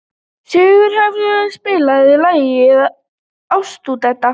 Sigurleifur, spilaðu lagið „Ástardúett“.